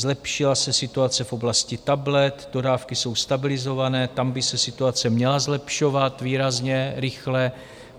Zlepšila se situace v oblasti tablet, dodávky jsou stabilizované, tam by se situace měla zlepšovat výrazně rychle.